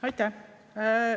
Aitäh!